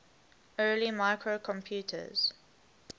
early microcomputers